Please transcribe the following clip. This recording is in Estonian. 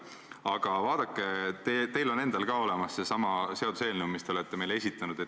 Aga vaadake, teil on endal ka olemas seesama seaduseelnõu, mille te olete meile esitanud.